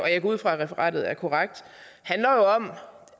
jeg går ud fra at referatet er korrekt handler jo om